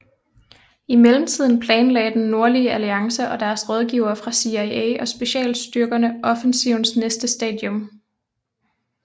I mellemtiden planlagde Den Nordlige Alliance og deres rådgivere fra CIA og specialstyrkerne offensivens næste stadium